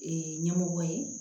ɲɛmɔgɔ ye